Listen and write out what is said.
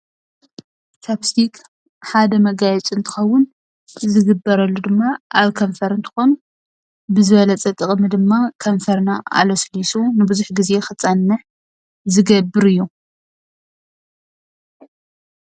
ቻፕስቲክ ሓደ መጋየፂ እንትከውን ዝግበረሉ ድማ ኣብ ከንፈር እንትከውን ብዝበለፀ ጠቅሚ ድማ ከንፈርና ኣለስሊሱ ንብዙሕ ግዜ ክፀንሕ ዝገብር እዩ።